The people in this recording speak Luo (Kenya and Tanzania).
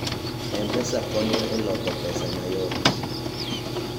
m-pesa konyo e loko pesa mayot